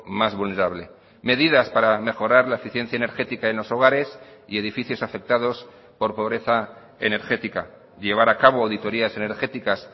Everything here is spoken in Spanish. más vulnerable medidas para mejorar la eficiencia energética en los hogares y edificios afectados por pobreza energética llevar a cabo auditorías energéticas